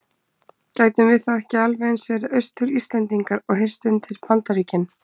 Gætum við þá ekki alveg eins verið Austur-Íslendingar og heyrt undir Bandaríkin?